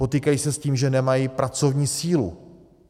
Potýkají se s tím, že nemají pracovní sílu.